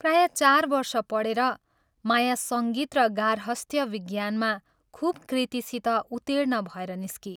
प्रायः चार वर्ष पढेर माया सङ्गीत र गार्हस्थ्य विज्ञानमा खूब कृतिसित उत्तीर्ण भएर निस्की।